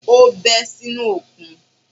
Ó bẹ́ sínú òkun